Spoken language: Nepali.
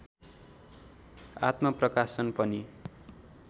आत्मप्रकाशन पनि